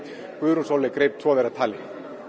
Guðrún Sóley greip tvo þeirra tali